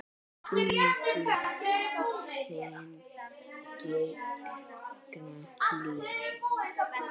Unginn þinn, Gígja Hlín.